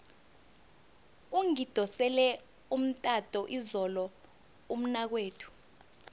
ungidosele umtato izolo umnakwethu